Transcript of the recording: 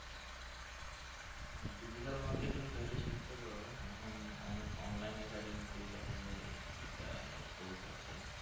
হম digital marketing চাইলে শিখতে পারো এখন অনেক online academy তেই দেখা যায় এটা নিয়ে course আছে